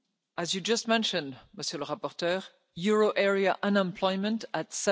As you just mentioned, Mr Mavrides, euro area unemployment, at